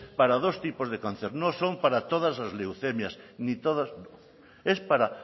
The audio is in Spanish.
para dos tipos de cáncer no son para todas las leucemias ni todos es para